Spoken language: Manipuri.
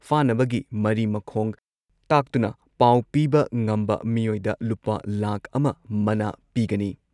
ꯐꯥꯅꯕꯒꯤ ꯃꯔꯤ ꯃꯈꯣꯡ ꯇꯥꯛꯇꯨꯅ ꯄꯥꯎ ꯄꯤꯕ ꯉꯝꯕ ꯃꯤꯑꯣꯏꯗ ꯂꯨꯄꯥ ꯂꯥꯈ ꯑꯃ ꯃꯅꯥ ꯄꯤꯒꯅꯤ꯫